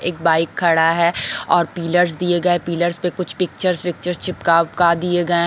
एक बाइक खड़ा हैं और पिलर्स दिए गये हैं और पिलर्स पे कुछ पिक्चर्स विक्चर्स चिपका विपका दिए गये --